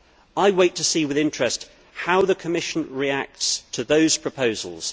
I wait to see with interest how the Commission reacts to those proposals.